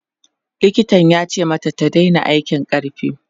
likitan yace mata ta Daina aikin ƙarfi